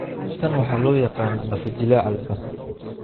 Tan waxa loo yaqaan lafo-jileeca labaad.